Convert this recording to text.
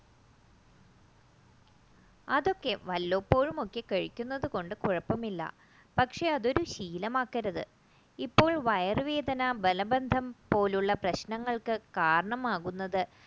അതൊക്കെ വല്ലപ്പോഴും ഒക്കെ കഴിക്കുന്നത് കൊണ്ട് കുഴപ്പമില്ല പക്ഷേ അതൊരു ശീലമാക്കരുത് ഇപ്പോൾ വയറുവേദന മലബന്ധം പോലുള്ള പ്രശ്നങ്ങൾക്ക് കാരണം ആകുന്നത്